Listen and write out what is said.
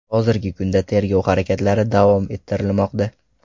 Hozirgi kunda tergov harakatlari davom ettirilmoqda.